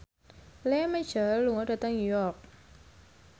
Lea Michele lunga dhateng York